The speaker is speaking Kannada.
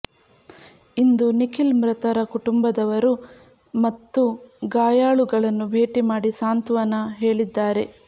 ಇಂದು ನಿಖಿಲ್ ಮೃತರ ಕುಟುಂಬದವರು ಮತ್ತು ಗಾಯಾಳುಗಳನ್ನು ಭೇಟಿ ಮಾಡಿ ಸಾಂತ್ವಾನ ಹೇಳಿದ್ದಾರೆ